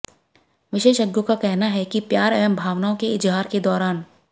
विशेषज्ञों का कहना है कि प्यार एवं भावनाओं के इजहार के दौरान